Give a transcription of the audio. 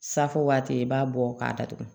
Safo waati i b'a bɔ k'a datugu